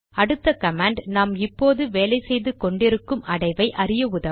அடுத்த கமாண்ட் நாம் இப்போது வேலை செய்து கொண்டிருக்கும் அடைவை அறிய உதவும்